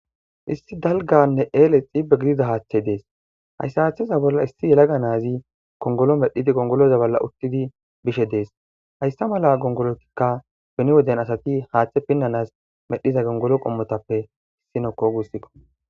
issi dalganne eele xibe giliza haaththe dees hayssa haaththeza bolla issi yelaga naazi gongolo medhidi gongoloza bolla uttidi bishe dees hayssa mala gongolotikka beni woden asati haaththe pinnanas medhiza gongolo qommotappe issinokko guussikko